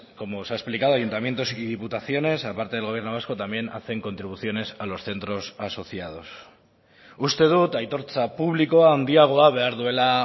como se ha explicado ayuntamientos y diputaciones a parte del gobierno vasco también hacen contribuciones a los centros asociados uste dut aitortza publikoa handiagoa behar duela